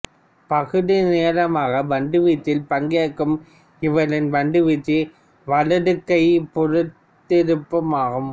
பகுதிநேரமாகப் பந்துவீச்சில் பங்கேற்கும் இவரின் பந்துவீச்சு வலதுகை புறத்திருப்பம் ஆகும்